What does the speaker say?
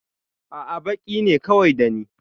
A'a, baƙi ne kawai da ni.